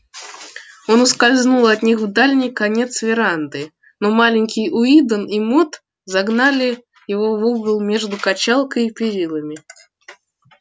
он ускользнул от них в дальний конец веранды но маленький уидон и мод загнали его в угол между качалкой и перилами